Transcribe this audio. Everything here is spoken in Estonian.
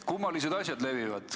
Kummalised asjad levivad.